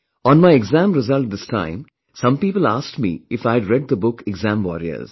On my exam result this time, some people asked me if I had read the book Exam Warriors